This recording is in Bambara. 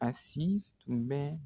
A si tun bɛ